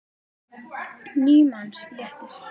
Níu manns létust.